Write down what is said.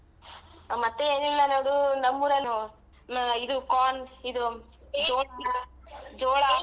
ಮತ್ತೆ ಏನಿಲ್ಲ ನೋಡ್ ನಮ್ಮೂರಲ್ಲಿ ಇದು corn ಇದು ಜೋಳ್~ ಜೋಳ.